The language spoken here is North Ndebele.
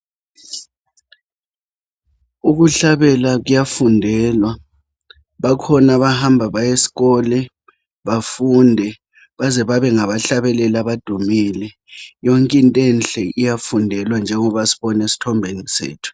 Ukuhlabela kuyafundelwa bakhona abahamba baye eskole bafunde baze babe ngabahlabeleli abadumile yonke into enhle iyafundelwa njengoba sibona esthombeni sethu.